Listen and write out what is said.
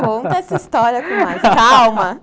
Conta essa história com mais calma.